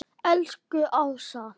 Elsku Ása.